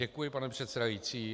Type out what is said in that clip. Děkuji, pane předsedající.